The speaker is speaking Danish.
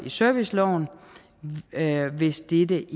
serviceloven hvis dette